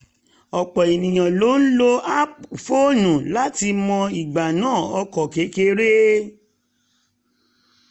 ọ̀pọ̀ ènìyàn ló ń lò app fóònù láti mọ ìgbanà ọkọ̀ kékèké